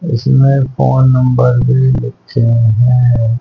इसमें phone number भी लिखे हैं।